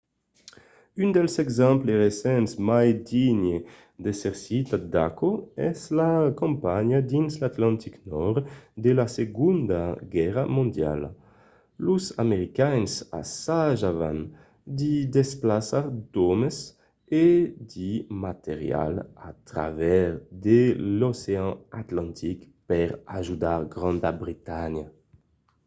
un dels exemples recents mai digne d'èsser citat d'aquò es la campanha dins l'atlantic nòrd de la segonda guèrra mondiala. los americains assajavan de desplaçar d'òmes e de material a travèrs de l'ocean atlantic per ajudar granda bretanha